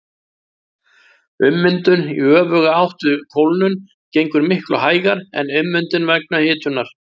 Ummyndun í öfuga átt við kólnun gengur miklu hægar en ummyndun vegna hitunar.